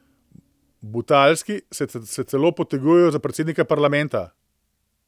Butalski se celo potegujejo za predsednike parlamenta.